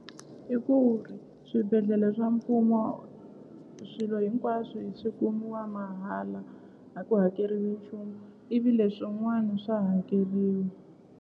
I ku swibedhlele swa mfumo swilo hinkwaswo swi kumiwa mahala a ku hakeriwi nchumu ivi leswin'wani swa .